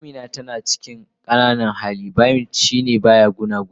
Amina tana cikin qananan hali, buymt shi ba gunaguni.